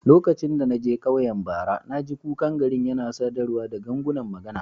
Lokacin da na je ƙauyen bara, na ji kukan garin yana sadarwa da gangunan magana.